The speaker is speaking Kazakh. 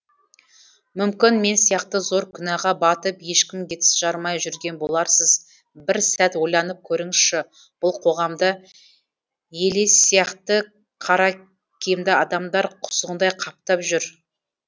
мүмкін мен сияқты зор күнәға батып ешкімге тіс жармай жүрген боларсыз бір сәт ойланып көріңізші бұл қоғамда елес сияқты қара киімді адамдар құзғындай қаптап жүр